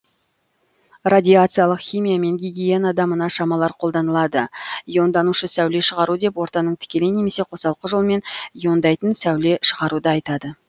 радиациялық химия мен гигиенада мына шамалар қолданылады иондаушы сәуле шығару деп ортаның тікелей немесе қосалқы жолмен иондайтын сәуле шығаруды атайды